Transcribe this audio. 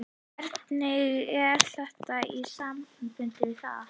Hvernig er þetta í samanburði við það?